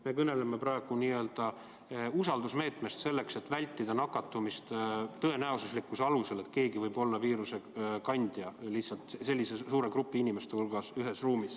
Me kõneleme praegu usaldusmeetmest selleks, et vältida nakatumist tõenäosuslikkuse alusel: lihtsalt, kui nii suur hulk inimesi viibib ühes ruumis, siis keegi võib olla viirusekandja.